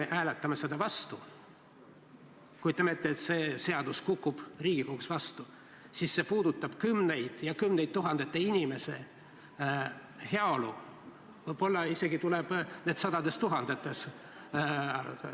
Kui me hääletame selle vastu – kujutame ette, et see seadus kukub Riigikogus läbi –, siis see puudutab kümnete tuhandete inimeste heaolu, võib-olla on neid isegi sadades tuhandetes.